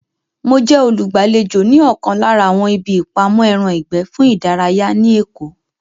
Mo jẹ́ olùgbàlejò ní ọ̀kan lára àwọn ibi ìpamọ́ ẹran ìgbẹ́ fún ìdárayá ní èkó